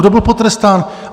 Kdo byl potrestán?